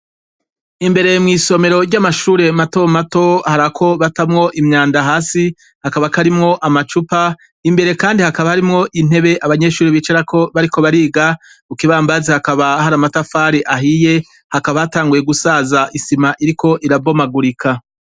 Imbere mw'isomero ry'amashure matomato, hari ako batamwo imyanda hasi, kakaba karimwo amacupa, imbere kandi hakaba harimwo intebe abanyeshure bicarako bariko bariga, ku kibambazi hakaba hari amatafari ahiye, hakaba hatangiye gusaza isima iriko irabomagurika.